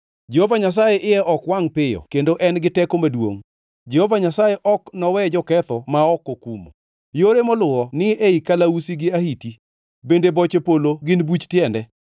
Jehova Nyasaye iye ok wangʼ piyo kendo en gi teko maduongʼ. Jehova Nyasaye ok nowe joketho ma ok okumo. Yore moluwo ni ei kalausi gi ahiti, bende boche polo gin buch tiende.